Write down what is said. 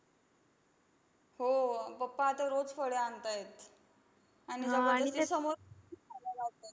हो, papa आता रोज फळे आणतायेत. आणि समोर लावतायेत.